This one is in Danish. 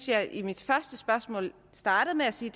jeg i mit første spørgsmål startede med at sige